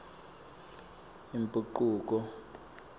imphucuko